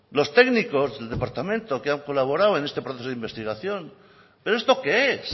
los técnicos el departamento que han colaborado en este proceso de investigación pero esto qué es